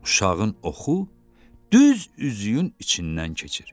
Uşağın oxu düz üzüyün içindən keçir.